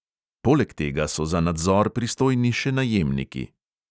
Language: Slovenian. Poleg tega so za nadzor pristojni še najemniki.